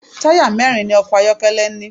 Táyà mẹ́ẹ́rin ni ọkọ̀ máà ń ní